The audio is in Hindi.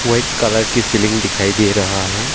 व्हाइट कलर की सीलिंग दिखाई दे रहा हैं।